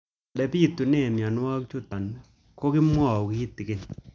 Ole pitune mionwek chutok ko kimwau kitig'�n